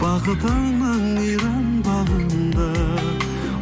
бақытыңның мейрам бағында